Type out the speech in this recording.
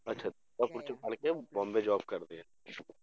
ਅੱਛਾ ਦੁਰਗਾਪੁਰ ਚੋਂ ਪੜ੍ਹਕੇ ਬੋਂਬੇ job ਕਰਦੇ ਆ